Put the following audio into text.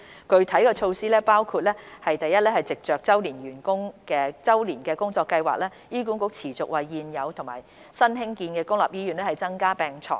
具體措施包括： 1藉着周年工作計劃，醫管局持續為現有和新建的公立醫院增加病床。